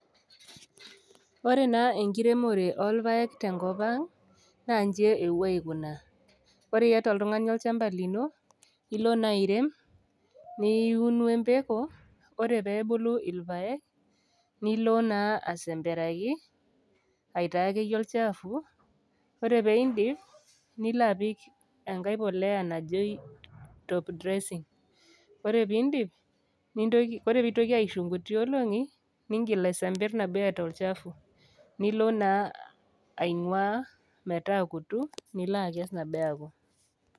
Ore naa enkiremore oolpaek te enkop aang', naa inji ewuoi aikunaa, ore iata oltung'ani olchamba lino, ilo naa airem, niun o empeko, ore pee ebulu ilpaek, nilo naa asemperaki, aitayu ake iyie olchaafu, ore pee indip nilo apik enkai polea najoi top dressing, ore pee indip ore pee eitoki aishuu inkuti oolong'i, niingil asemper nabo eata olchafu, nilo naa aing'uaa metaakutu, nilo akes nabo eaku.